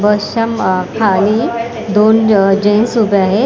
बसच्याम खाली दोन जेन्ट्स उभे आहेत.